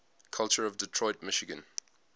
culture of detroit michigan